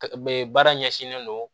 Be baara ɲɛsinnen don